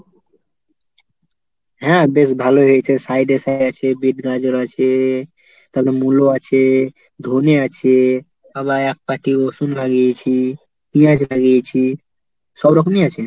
হ্যাঁ বেশ ভালো হয়েছে, side এ সায়ে আছে, বিট গাজর আছে, তারপর মুলো আছে, ধনে আছে, আবার এক পাটি রসুন লাগিয়েছি, পিঁয়াজ লাগিয়েছি সব রকমই আছে।